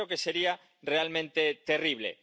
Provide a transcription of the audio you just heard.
Yo creo que sería realmente terrible.